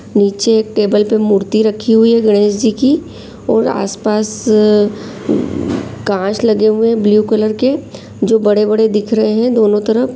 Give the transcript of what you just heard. नीचे एक टेबल पे मूर्ति रखी हुई है गणेशजी की और आस-पास अ कांच लगे हुए है। ब्लू कलर के जो बड़े बड़े दिख रहे है दोनों तरफ--